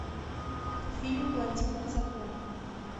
фильм блондинка в законе